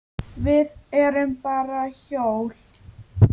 Við erum bara hjól.